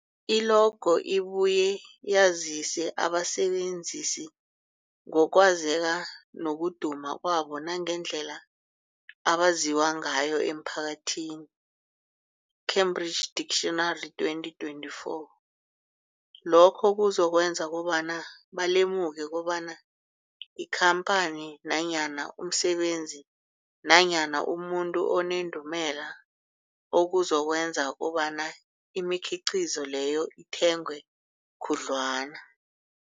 I-logo ibuye yazise abasebenzisi ngokwazeka nokuduma kwabo nangendlela abaziwa ngayo emphakathini, Cambridge Dictionary 2024. Lokho kuzokwenza kobana balemuke kobana yikhamphani nanyana umsebenzi nanyana umuntu onendumela, okuzokwenza kobana imikhiqhizo leyo ithengwe khudlwana.